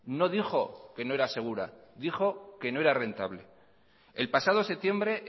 no dijo que no era segura dijo que no era rentable el pasado septiembre